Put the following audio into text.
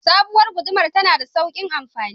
Sabowar gudumar tana da saukin amfani